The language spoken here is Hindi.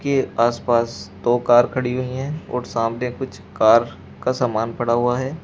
के आस पास दो कार खड़ी हुई है और सामने कुछ कार का सामान पड़ा हुआ है।